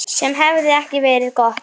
Sem hefði ekki verið gott.